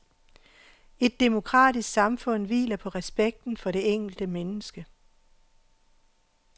Et demokratisk samfund hviler på respekten for det enkelte menneske.